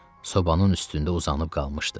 Sobaın üstündə uzanıb qalmışdı.